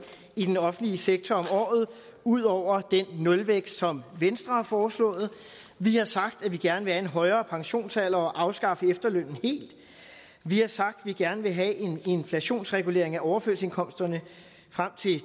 i den offentlige sektor om året ud over den nulvækst som venstre har foreslået vi har sagt at vi gerne vil have en højere pensionsalder og afskaffe efterlønnen helt vi har sagt at vi gerne vil have en inflationsregulering af overførselsindkomsterne frem til